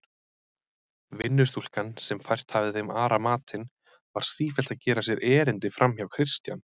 Vinnustúlkan, sem fært hafði þeim Ara matinn, var sífellt að gera sér erindi framhjá Christian.